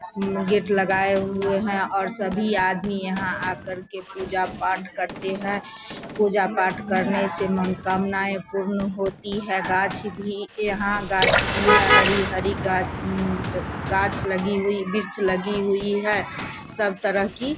उम gate लगाए हुए है और सभी आदमी यहाँ आ करके पूजा-पाठ करते है पूजा-पाठ करने से मनोकामनाएं पूर्ण होती है गाछ भी यहाँ गाछ भी है हरी-हरी गा उम गाछ लगी हुई वृक्ष लगी हुई है सब तरह की--